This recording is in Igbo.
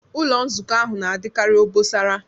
Ụlọ Nzukọ ahụ na-adịkarị obosara